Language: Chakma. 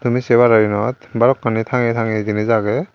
tumi sey paror iyenot balokkani thangeye thangeye jinich agey.